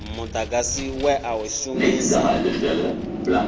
mudagasi we a u shumisa